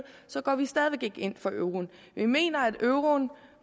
går vi stadig væk ikke ind for euroen vi mener at euroen